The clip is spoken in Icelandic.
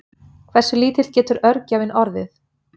Hversu lítill getur örgjörvinn orðið?